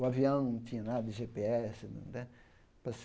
O avião não tinha nada de gê pê ese.